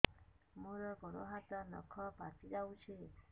ମୋର ଗୋଡ଼ ହାତ ନଖ ପାଚି ଯାଉଛି